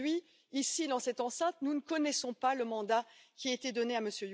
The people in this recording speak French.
Aujourd'hui ici, dans cette enceinte, nous ne connaissons pas le mandat qui a été donné à M.